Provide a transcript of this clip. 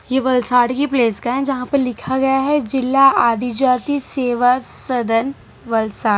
ये वलसाड की प्लेस का है जहां पे लिखा गया है जिला आदि जाति सेवा सदन वलसाड--